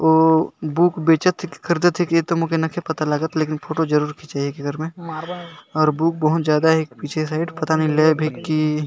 उ बुक बेचत है कि खरीदे है इ तो मोर नहीं पता लागत लेकिन फोटो जरूर खीचत एककर में और बुक बहुत ज्यादा एक पीछे साइड नहीं लेब है की --